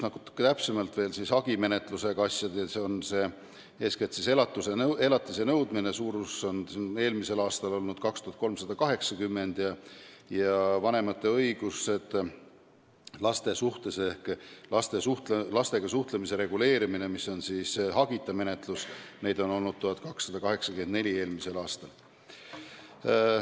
Natuke täpsemalt: hagimenetlusega asju oli eelmisel aastal 2380 ja vanemate õigusi laste suhtes ehk lastega suhtlemise reguleerimist, mis on hagita menetlus, käsitles eelmisel aastal 1284 asja.